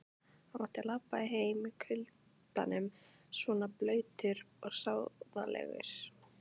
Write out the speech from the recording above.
Ég mátti labba heim í kuldanum svona blautur og sóðalegur.